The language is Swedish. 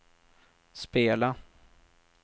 spela